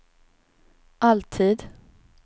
alltid